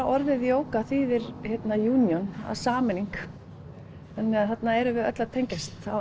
orðið jóga þýðir union sameining þannig að þarna erum við öll að tengjast á